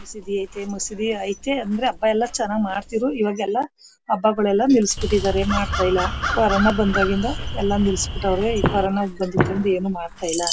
ಮಸೂದಿ ಯೆತೆ ಮಸೂದಿ ಯೆತೆ ಅಂದ್ರೆ ಹಬ್ಬಯೆಲ್ಲ ಚೆನ್ನಾಗಿ ಮಾಡ್ತಿರು ಇವಾಗೆಲ್ಲ ಹಬ್ಬಯೆಲ್ಲ ನೀಳ್ಸ್ಬಿಟಿದ್ದಾರೆ ಈಗ ಮಾಡ್ತಿಲ್ಲ ಕೊರೊನ ಬಂದಾಗಿದ್ದ ಎಲ್ಲ ನಿಲ್ಸ್ಬಿಟ್ಟವ್ರೆ ಈಗ ಕೊರೊನ ಬಂದಾಗಿಂದ ಏನು ಮಾಡತೈಲ್ಲ.